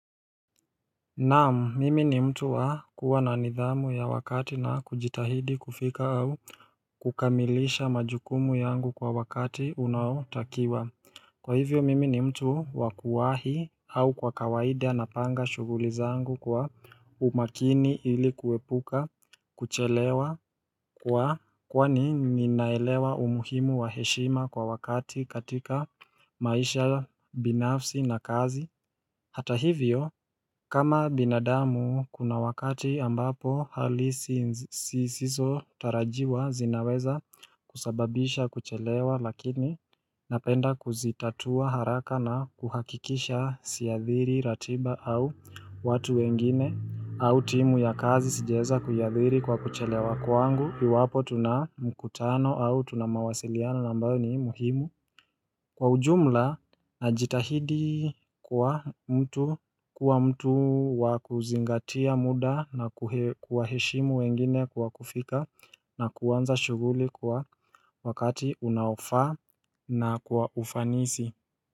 Naam, mimi ni mtu wa kuwa na nidhamu ya wakati na kujitahidi kufika au kukamilisha majukumu yangu kwa wakati unaotakiwa. Kwa hivyo, mimi ni mtu wa kuwahi au kwa kawaida napanga shughuli zangu kwa umakini ili kuepuka kuchelewa kwa kwani ninaelewa umuhimu wa heshima kwa wakati katika maisha ya binafsi na kazi. Hata hivyo kama binadamu kuna wakati ambapo hali zisizotarajiwa zinaweza kusababisha kuchelewa lakini napenda kuzitatua haraka na kuhakikisha siadhiri ratiba au watu wengine au timu ya kazi sijaeza kuiadhiri kwa kuchelewa kwangu iwapo tuna mkutano au tuna mawasiliano ambayo ni muhimu. Kwa ujumla najitahidi kwa mtu, kuwa mtu wa kuzingatia muda na kuwaheshimu wengine kwa kufika na kuanza shughuli kwa wakati unaofaa na kwa ufanisi.